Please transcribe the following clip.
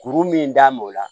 Kuru min d'a ma o la